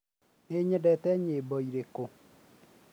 nĩ nyendete nyĩmbo irĩkũ